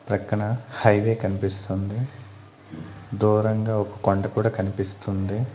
ప్రక్కన హైవే కనిపిస్తుంది దూరంగా ఒక కొండ కూడా కనిపిస్తుంది.